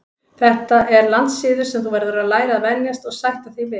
Þetta er landssiður sem þú verður að læra að venjast og sætta þig við.